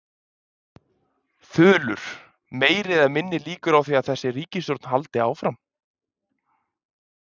Þulur: Meiri eða minni líkur á því að þessi ríkisstjórn haldi áfram?